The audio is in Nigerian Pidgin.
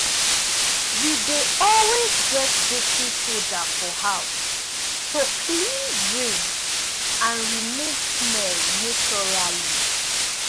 we dey always get baking soda for house to clean drain and remove smell naturally.